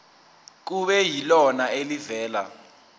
kube yilona elivela